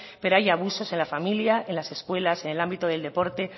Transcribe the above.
pero hay abusos en la familia en las escuelas en el ámbito del deporte